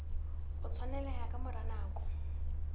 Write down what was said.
o tshwaneleha ka mora nako